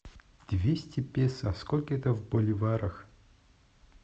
двести песо сколько это в боливарах